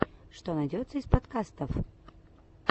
что найдется из подкастов